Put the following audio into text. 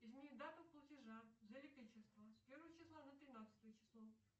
измени дату платежа за электричество с первого числа на тринадцатое число